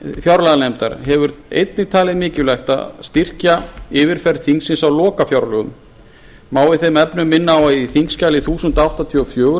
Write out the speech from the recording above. fjárlaganefndar hefur einnig talið mikilvægt að styrkja yfirferð þingsins á lokafjárlögum má í þeim efnum minna á að í þingskjali þúsund og áttatíu og fjögur við